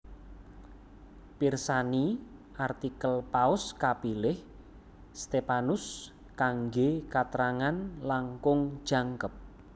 Pirsani artikel Paus kapilih Stephanus kanggé katrangan langkung jangkep